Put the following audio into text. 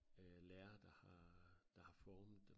Øh lærere der har der har formet dem